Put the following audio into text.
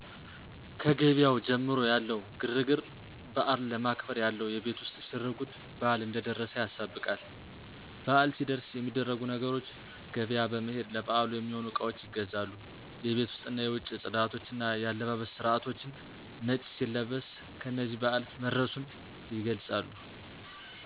ከገብያው ጀምሮ ያለው ግር ግር በአል ለማክበር ያለው የቤት ውስጥ ሽር ጉድ በአል እንደ ደረሰ ያሳብቃል። በአል ሲደርስ የሚደረጉ ነገሮች ገብያ በመሄድ ለበአሉ የሚሆኑ እቃዋች ይገዛሉ። የቤት ውስጥና የ ውጭ ጽዳቶች እና የአለባበስ ስርቶቻችን ነጭ ሲለበስ እነነዚህ በአል መድረሱን ይገልጻሉ።